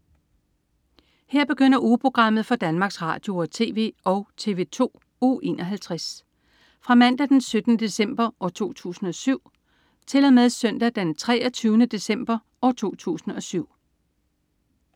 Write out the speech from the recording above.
Her begynder ugeprogrammet for Danmarks Radio- og TV og TV2 Uge 51 Fra Mandag den 17. december 2007 Til Søndag den 23. december 2007